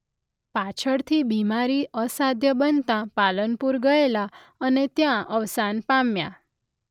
પાછળથી બીમારી અસાધ્ય બનતાં પાલનપુર ગયેલા અને ત્યાં અવસાન પામ્યા.